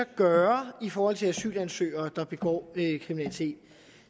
kan gøre i forhold til asylansøgere der begår kriminalitet